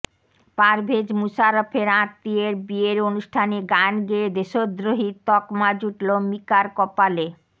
পারভেজ মুশারাফের আত্মীয়ের বিয়ের অনুষ্ঠানে গান গেয়ে দেশদ্রোহীর তকমা জুটল মিকার কপালে